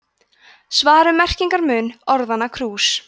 svar um merkingarmun orðanna krús